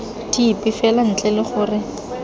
dipe fela ntle le gore